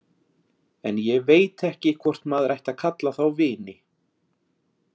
En ég veit ekki hvort maður ætti að kalla þá vini.